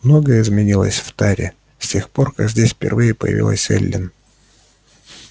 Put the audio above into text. многое изменилось в таре с тех пор как здесь впервые появилась эллин